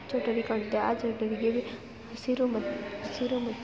building ಕಾಣುತ್ತಾ ಇದೆ ಆ ಬಿಲ್ಡಿಂಗ್‌ ಮಧ್ಯದಲ್ಲಿ ಹಸಿರು ಮತ್ತು